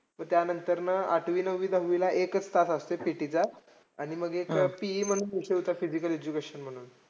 मग त्यांनतर ना आठवी नववी दहावीला एकच तास असतोय PT चा. आणि मग एक PE म्हणून विषय होता physical education म्हणून.